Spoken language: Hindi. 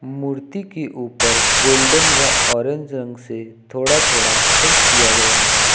मूर्ति के ऊपर गोल्डन व ऑरेंज रंग से थोड़ा थोड़ा पेंट किया गया है।